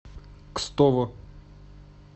кстово